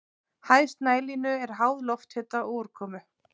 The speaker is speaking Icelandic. Hæð snælínu er háð lofthita og úrkomu.